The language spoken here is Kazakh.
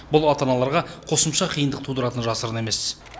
бұл ата аналарға қосымша қиындық тудыратыны жасырын емес